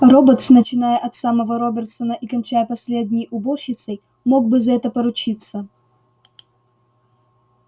роботс начиная от самого робертсона и кончая последней уборщицей мог бы за это поручиться